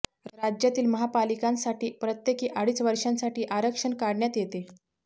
राज्यातील महापालिकांसाठी प्रत्येकी अडीच वर्षांसाठी आरक्षण काढण्यात येते